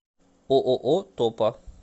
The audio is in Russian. ооо топа